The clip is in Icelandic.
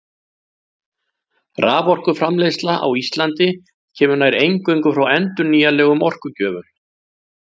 Raforkuframleiðsla á Íslandi kemur nær eingöngu frá endurnýjanlegum orkugjöfum.